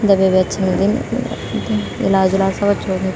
दवाई भी अच्छी मिल्दीन इलाज-उलाज सब अच्छु हूंदीन।